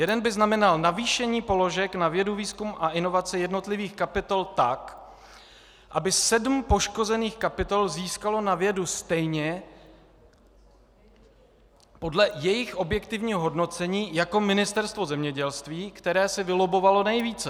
Jeden by znamenal navýšení položek na vědu, výzkum a inovaci jednotlivých kapitol tak, aby sedm poškozených kapitol získalo na vědu stejně podle jejich objektivního hodnocení jako ministerstvo zemědělství, které si vylobbovalo nejvíce.